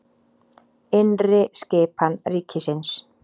Innri skipan ríkisins